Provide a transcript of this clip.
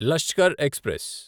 Lashkar express